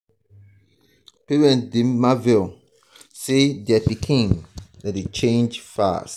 parents dey marvel sey um dier pikin dem dey change fast.